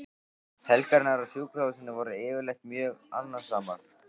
Helgarnar á sjúkrahúsinu voru yfirleitt mjög annasamar.